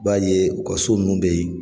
B'a ye u ka so nunnu be ye